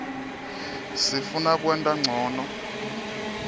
sifuna kwenta ncono